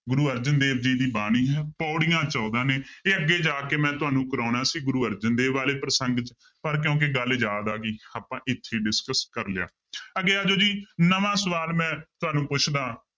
ਗੁਰੂ ਅਰਜਨ ਦੇਵ ਜੀ ਦੀ ਬਾਣੀ ਹੈ ਪਾਉੜੀਆਂ ਚੋਦਾਂ ਨੇ ਇਹ ਅੱਗੇ ਜਾ ਕੇ ਮੈਂ ਤੁਹਾਨੂੰ ਕਰਵਾਉਣਾ ਸੀ ਗੁਰੂ ਅਰਜਨ ਦੇਵ ਵਾਲੇ ਪ੍ਰਸੰਗ 'ਚ ਪਰ ਕਿਉਂਕਿ ਗੱਲ ਯਾਦ ਆ ਗਈ ਆਪਾਂ ਇੱਥੇ ਹੀ discuss ਕਰ ਲਿਆ ਅੱਗੇ ਆ ਜਾਓ ਜੀ ਨਵਾਂ ਸਵਾਲ ਮੈਂ ਤੁਹਾਨੂੰ ਪੁੱਛਦਾ